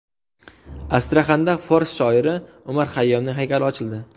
Astraxanda fors shoiri Umar Xayyomning haykali ochildi.